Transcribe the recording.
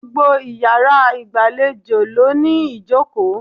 Gbogbo iyàrá ìgbàlejò ló ní ìjòkó